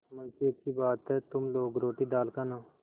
मुंशीअच्छी बात है तुम लोग रोटीदाल खाना